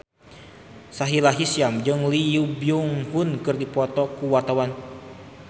Sahila Hisyam jeung Lee Byung Hun keur dipoto ku wartawan